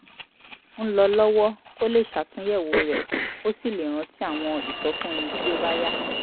ń lọ lọ́wọ́ kó lè ṣàtúnyẹ̀wò rẹ̀ kó sì lè rántí àwọn ìsọfúnni tí ó bá yá